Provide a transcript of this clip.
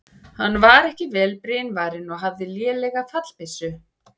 Hann var ekki vel brynvarinn og hafði lélega fallbyssu.